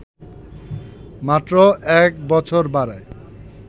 মাত্র ১ বছর বাড়ায়